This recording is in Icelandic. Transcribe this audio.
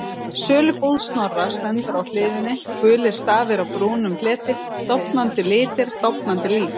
Sölubúð Snorra, stendur á hliðinni, gulir stafir á brúnum fleti, dofnandi litir, dofnandi líf.